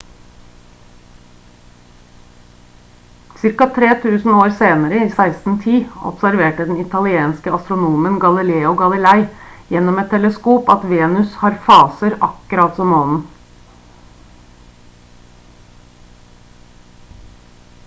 ca 3000 år senere i 1610 observerte den italienske astronomen galileo galilei gjennom et teleskop at venus har faser akkurat som månen